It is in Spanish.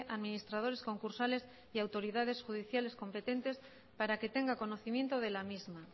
administradores concursales y autoridades judiciales competentes para que tenga conocimiento de la misma